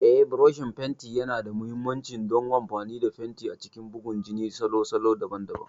Eh, burushin fenti yana da mahimmanci don amfani da fenti a cikin bugun jini da salo daban-daban.